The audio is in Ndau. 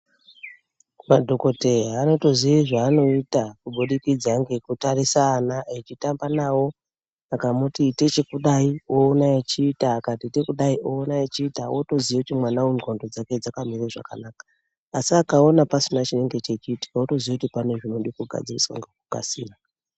Madhokoteya anotoziya zvaanoita kubudikidza ngekutarisa ana echitamba nawo. Akamuti ita chekudai oona achiita, akati ite kudai oona achiita otoziya kuti mwana uyu ndxondo dzake dzakamire zvakanaka asi akaona pasina chinenge chechiitika otoziya kuti pane zvinode kugadziriswa ngekukasira.